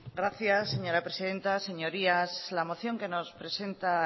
gracias señora presidenta señorías la moción que nos presenta